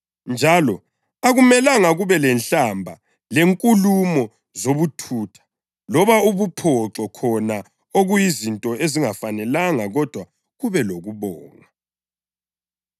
Njalo akumelanga kube lenhlamba lenkulumo zobuthutha loba ubuphoxo khona okuyizinto ezingafanelanga kodwa kakube lokubonga.